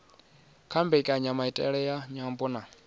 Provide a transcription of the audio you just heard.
kha mbekanyamaitele ya nyambo na